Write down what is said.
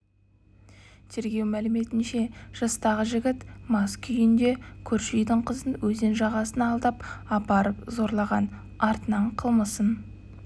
тергеу мәліметінше жастағы жігіт мас күйінде көрші үйдің қызын өзен жағасына алдап апарып зорлаған артынан қылмысын